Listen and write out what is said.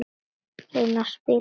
Reyna að spila!